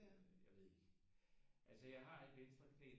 Jeg ved ikke altså jeg har et venstre knæ